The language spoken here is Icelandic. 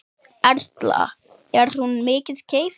Erla: Er hún mikið keypt?